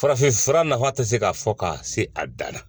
Farafinfura nafa tɛ se ka fɔ ka se a dan na